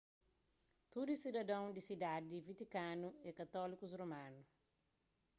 tudu sidadon di sidadi di vatikanu é katólikus romanu